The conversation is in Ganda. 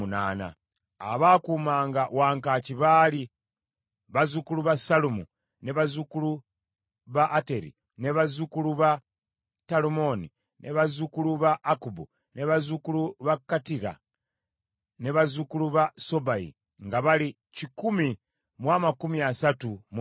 Abaakuumanga wankaaki baali: bazzukulu ba Sallumu, bazzukulu ba Ateri, bazzukulu ba Talumoni, bazzukulu ba Akkubu, bazzukulu ba Katita, ne bazzukulu ba Sobayi nga bali kikumi mu amakumi asatu mu munaana (138).